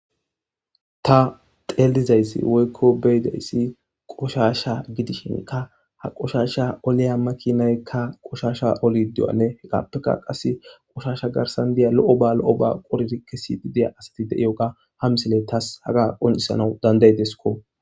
ta teellizayssi woykko beyidayssi qoshasha gidishinka ha qoshasha oliya makinaykka qoshasha oli duwane hekappeka qas qoshasha garsan diya lo7o ba lo7o ba qoririkkesii deya asati deiyo ga ha misile taas haga qonisanau dandaydesko